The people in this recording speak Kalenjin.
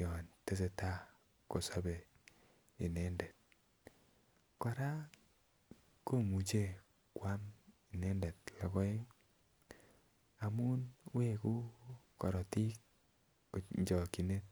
yon tesetai kosobe inendet kora komuche koam inendet logoek amun wegu korotik en chokyinet